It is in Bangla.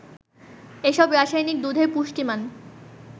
এসব রাসায়নিক দুধের পুষ্টিমান